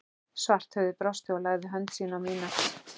Svarthöfði brosti og lagði hönd sína á mína